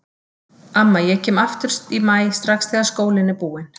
Amma ég kem aftur í maí strax þegar skólinn er búinn